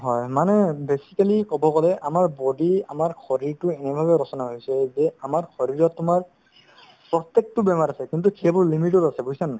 হয়, মানে basically ক'ব গ'লে আমাৰ body আমাৰ শৰীৰতো এনেভাবে ৰচনা হৈছে যে আমাৰ শৰীৰত তোমাৰ প্ৰত্যেকতো বেমাৰ আছে কিন্তু কেৱল limit ত আছে বুজিছানে নাই